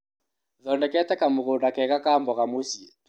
Thondekete kamũgũnda kega ka mboga mũci.